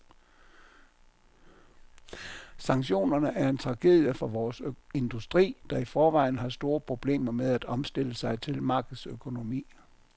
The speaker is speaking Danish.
Sanktionerne er en tragedie for vores industri, der i forvejen har store problemer med at omstille sig til markedsøkonomi.